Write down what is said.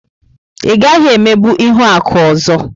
Ị gaghị emegbu Ihuaku ọzọ!